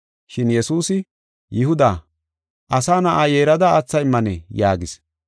Shin Yesuusi, “Yihuda, Asa Na7aa yeerada aatha immanee?” yaagis.